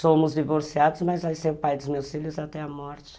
Somos divorciados, mas vai ser o pai dos meus filhos até a morte.